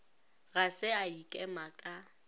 ga se a ikema ka